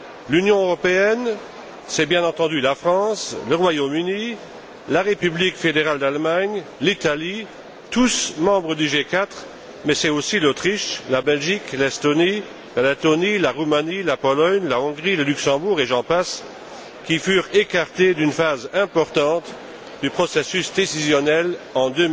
L'Union européenne, c'est bien entendu la France, le Royaume Uni, la République fédérale d'Allemagne, l'Italie, tous membres du G4, mais c'est aussi l'Autriche, la Belgique, l'Estonie, la Lettonie, la Roumanie, la Pologne, la Hongrie, le Luxembourg, et j'en passe, qui furent écartés d'une phase importante du processus décisionnel en